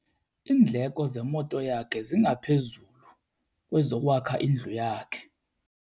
Iindleko zemoto yakhe zingaphezulu kwezokwakha indlu yakhe.